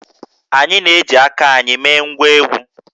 Anyị na-eji aka anyị mee ngwá egwú